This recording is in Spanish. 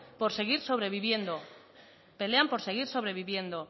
por seguir sobreviviendo pelean por seguir sobreviviendo